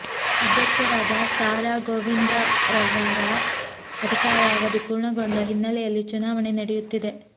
ಅಧ್ಯಕ್ಷರಾದ ಸಾ ರಾ ಗೋವಿಂದ್ರವರ ಅಧಿಕಾರ ಅವಧಿ ಪೂರ್ಣ ಗೊಂಡ ಹಿನ್ನೆಲೆಯಲ್ಲಿ ಚುನಾವಣೆ ನಡೆಯುತ್ತಿದೆ